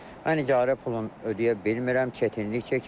Mən icarə pulunu ödəyə bilmirəm, çətinlik çəkirəm.